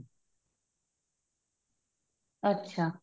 ਅੱਛਾ